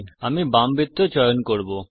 আমি বাম বৃত্ত চয়ন করব